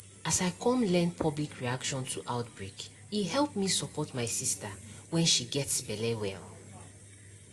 as i come learn public reaction to outbreake help me support my sister when she gets belle well